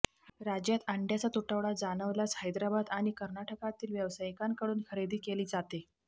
राज्यात अंड्यांचा तुटवडा जाणवल्यास हैदराबाद आणि कर्नाटकातील व्यावसायिकांकडून खरेदी केली जाते